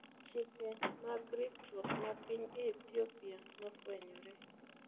Chike mag ritruok ma piny Ehthiopia nofwenyore.